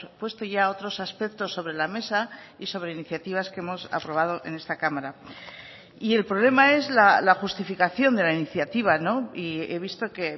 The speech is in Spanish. puesto ya otros aspectos sobre la mesa y sobre iniciativas que hemos aprobado en esta cámara y el problema es la justificación de la iniciativa y he visto que